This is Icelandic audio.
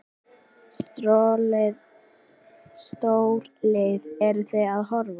Stórlið, eru Þið að horfa?